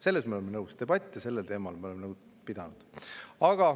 Sellega ma olen nõus, debatte sel teemal me oleme pidanud.